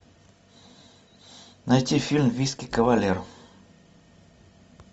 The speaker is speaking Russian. найти фильм виски кавалер